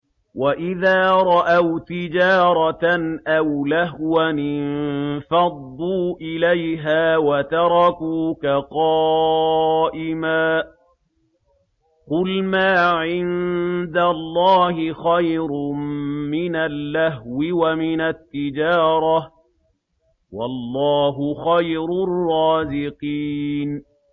وَإِذَا رَأَوْا تِجَارَةً أَوْ لَهْوًا انفَضُّوا إِلَيْهَا وَتَرَكُوكَ قَائِمًا ۚ قُلْ مَا عِندَ اللَّهِ خَيْرٌ مِّنَ اللَّهْوِ وَمِنَ التِّجَارَةِ ۚ وَاللَّهُ خَيْرُ الرَّازِقِينَ